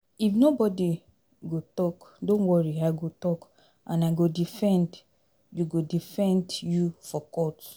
If nobody go talk don't worry I go talk and I go defend you go defend you for court